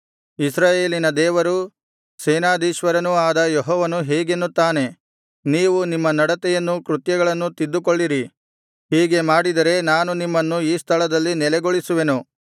ಇಸ್ರಾಯೇಲಿನ ದೇವರೂ ಸೇನಾಧೀಶ್ವರನೂ ಆದ ಯೆಹೋವನು ಹೀಗೆನ್ನುತ್ತಾನೆ ನೀವು ನಿಮ್ಮ ನಡತೆಯನ್ನೂ ಕೃತ್ಯಗಳನ್ನೂ ತಿದ್ದಿಕೊಳ್ಳಿರಿ ಹೀಗೆ ಮಾಡಿದರೆ ನಾನು ನಿಮ್ಮನ್ನು ಈ ಸ್ಥಳದಲ್ಲಿ ನೆಲೆಗೊಳಿಸುವೆನು